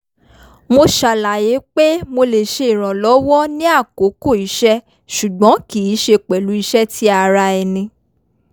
mo ṣàlàyé pé mo lè ṣe ìrànlọ́wọ́ ní àkókò iṣẹ́ ṣùgbọ́n kì í ṣe pẹ̀lú iṣẹ́ ti ara ẹni